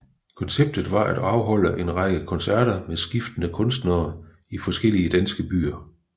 Konceptet var at afholde en række koncerter med skiftende kunstnere i forskellige danske provinsbyer